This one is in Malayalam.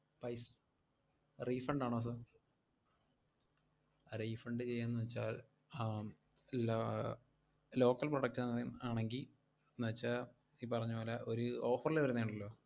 pais~ refund ആണോ sir? refund ചെയ്യാന്നു വെച്ചാൽ ആഹ് ല~ ആഹ് local product ആണെങ്കി, ~ന്നു വെച്ചാ ഈ പറഞ്ഞപോലെ ഒര് offer ല് വരുന്ന ഒണ്ടല്ലോ,